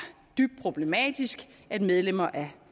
dybt problematisk at et medlem af